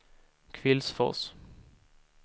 Kvillsfors